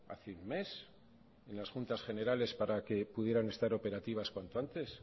hace un mes en las juntas generales para que pudieran estar operativas cuanto antes